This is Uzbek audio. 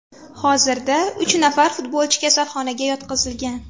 Hozirda uch nafar futbolchi kasalxonaga yotqizilgan.